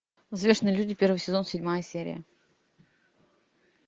взвешенные люди первый сезон седьмая серия